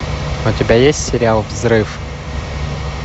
у тебя есть сериал взрыв